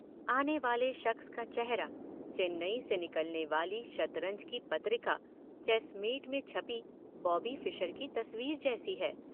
आनेवाले शख्स का चेहरा चेन्नई से निकलने वाली शतरंज की पत्रिका ‘चेसमेट’ में छपी बॉबी फिशर की तस्वीर जैसी है।